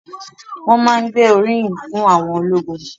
Wọ́n má ń gbé oríyìn fún àwọn ológun